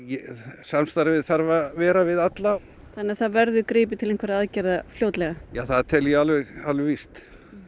samstarfið þarf að vera við alla þannig að það verður gripið til einhverra aðgerða fljótlega ja það tel ég alveg alveg víst